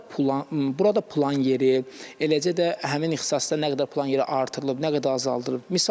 Burada, burada plan yeri, eləcə də həmin ixtisasda nə qədər plan yeri artırılıb, nə qədər azaldılıb.